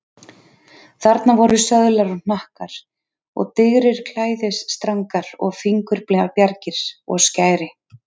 Þarna voru söðlar og hnakkar og digrir klæðisstrangar og fingurbjargir og skæri.